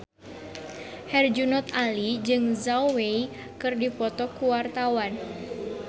Herjunot Ali jeung Zhao Wei keur dipoto ku wartawan